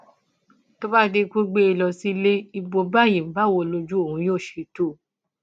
tó bá di pé o gbé e lọ sílé ibo báyìí báwo lojú òun yóò ṣe tó o